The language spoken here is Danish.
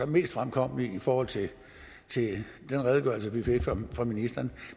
mest fremkommelige i forhold til den redegørelse vi fik fra ministeren